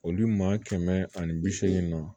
Olu maa kɛmɛ ani bi seegin na